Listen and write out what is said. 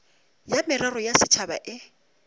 ya merero ya setšhaba e